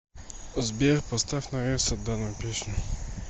сбер поставь на ресет данную песню